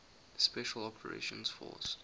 special operations force